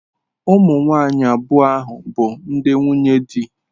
Ụmụ nwanyị abụọ ahụ bụ ndi nwunye di.